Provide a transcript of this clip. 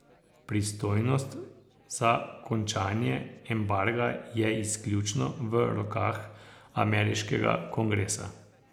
Pristojnost za končanje embarga je izključno v rokah ameriškega kongresa.